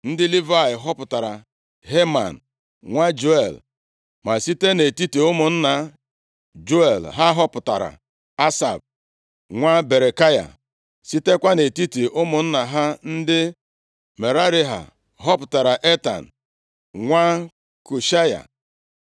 Ndị Livayị họpụtara Heman nwa Juel; ma site nʼetiti ụmụnna Juel ha họpụtara Asaf, nwa Berekaya. Sitekwa nʼetiti ụmụnna ha ndị Merari ha họpụtara Etan nwa Kushaya,